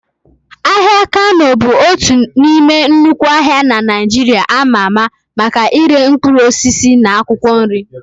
Ahịa Kano bụ otu n'ime nnukwu ahịa na Naịjirịa ama ama maka ire mkpụrụ osisi na akwụkwọ nri.